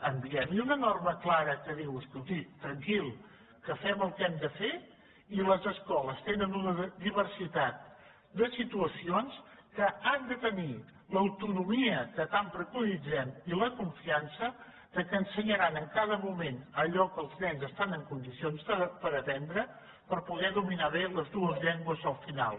enviem hi una norma clara que digui escolti tranquil que fem el que hem de fer i les escoles tenen una diversitat de situacions que han de tenir l’autonomia que tant preconitzem i la confiança que ensenyaran en cada moment allò que els nens estan en condicions d’aprendre per poder dominar bé les dues llengües al final